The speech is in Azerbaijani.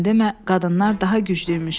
Sən demə, qadınlar daha güclüymüş.